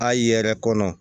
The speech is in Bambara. A yɛrɛ kɔnɔ